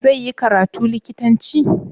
Zai yi karatu likitanci?